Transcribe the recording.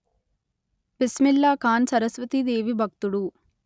బిస్మిల్లాఖాన్ సరస్వతీ దేవి భక్తుడు